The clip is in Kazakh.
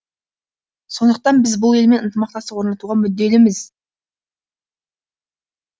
сондықтан біз бұл елмен ынтымақтастық орнатуға мүдделіміз